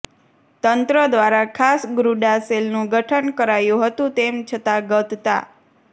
તંત્ર દ્વારા ખાસ ગ્રૂડા સેલનું ગઠન કરાયું હતું તેમ છતાં ગત તા